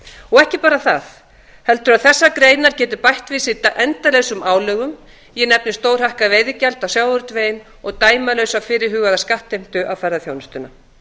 og ekki bara það heldur að þessar greinar geti bætt við sig endalausum álögum ég nefni stórhækkað veðigjald á sjávarútveginn og dæmalausa fyrirhugaða skattheimtu á ferðaþjónustuna